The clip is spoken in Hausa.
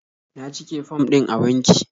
Na cike fom din a banki.